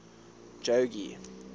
jogee